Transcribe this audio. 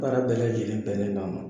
Baara bɛɛ lajɛlen bɛnnen don a ma